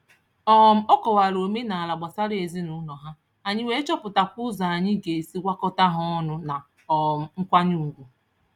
um Ọ kọwara omenaala gbasara ezinụụlọ ha, anyị wee chọpụtakwa ụzọ anyị ga-esi gwakọta ha ọnụ na um nkwanye ugwu.